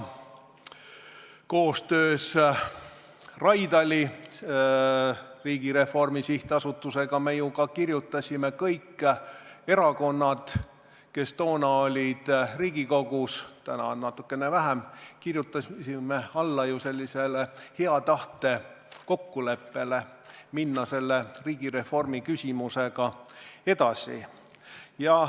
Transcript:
Koostöös Raidla Riigireformi SA-ga me ju kirjutasime alla, kõik erakonnad, kes toona olid Riigikogus – täna on neid siin natukene vähem – hea tahte kokkuleppele, et minna riigireformi küsimusega edasi.